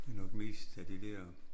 Det nok mest af de dér